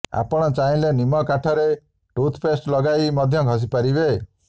ଆପଣ ଚାହିଁଲେ ନିମ୍ୱ କାଠିରେ ଟୁଥ୍ପେଣ୍ଟ ଲଗାଇ ମଧ୍ୟ ଘଷି ପାରିବେ